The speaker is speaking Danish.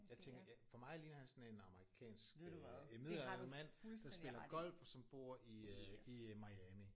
Jeg tænker ja for mig ligner han sådan en amerikansk øh midaldrende mand der spiller golf og som bor i øh i øh Miami